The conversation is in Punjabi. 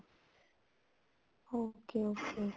okay okay